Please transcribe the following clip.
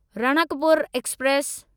Ranakpur express